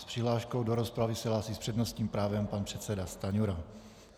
S přihláškou do rozpravy se hlásí s přednostním právem pan předseda Stanjura.